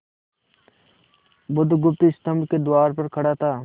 बुधगुप्त स्तंभ के द्वार पर खड़ा था